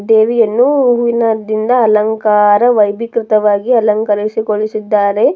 ದೇವಿಯನ್ನು ಹೂವಿನ ದಿಂದ ಅಲಂಕಾರ ವೈಭೀಕೃತವಾಗಿ ಅಲಂಕರಿಸಿಗೊಳಿಸಿದ್ದಾರೆ.